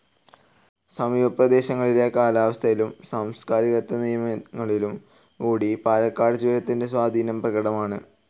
സമീപപ്രദേശങ്ങളിലെ കാലാവസ്ഥയിലും സാംസ്ക്കാരികത്തനിമകളിലും കൂടി പാലക്കാട് ചുരത്തിന്റെ സ്വാധീനം പ്രകടമാണ്.